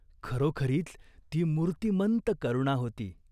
खरोखरीच ती मूर्तिमंत करुणा होती.